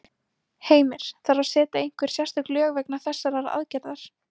Heimir: Þarf að setja einhver sérstök lög vegna þessarar aðgerðar?